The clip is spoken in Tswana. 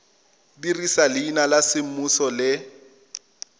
dirisa leina la semmuso le